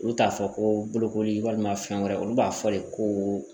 Olu t'a fɔ ko bolokoli walima fɛn wɛrɛ olu b'a fɔ de ko